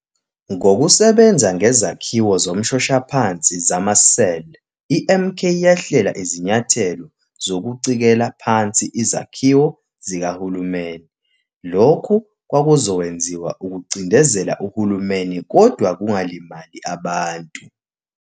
Ngokusebenza ngezakhiwo zomshoshaphansi zama-cell, iMK yahlela izinyathelo zokucikela phansi izakhiwo zikahulumeni, lokhu kwakuzokwenziwa ukucindezela uhulumeni kodwa kungalimali abantu.